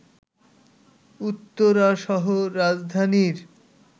উত্তরাসহ রাজধানীর